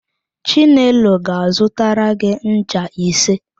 Chinelo ga-azụtara gị ncha ise.